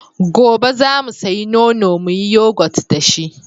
Gobe za mu sayi nono mu yi yagot da shi.